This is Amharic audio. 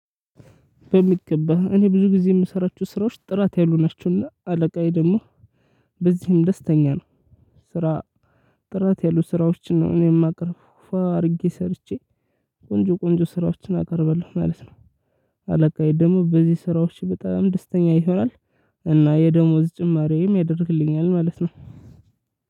በሚገባ እኔ ብዙ ጊዜ የምሰራችሁ ስራዎች ጥራት ያሉ ናቸውና አለቃዬ ደግሞ በዚህም ደስተኛ ነው። ስራ። ጥራት ያሉ ስራዎችን ነው እኔም እማቀርበው ፏ አድርጌ ሰርቼ ቆንጆ ቆንጆ ስራዎችን አቀርባለሁ ማለት ነው። አለቃዬ ደሞ በዚህ ስራዎች በጣም ደስተኛ ይሆናል። እና የደሞዝ ጭማሪም ያደርግልኛል ማለት ነው።